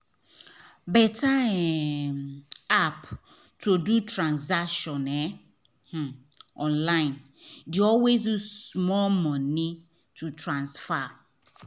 better um app to do transaction um um online dey always use small money to transfer um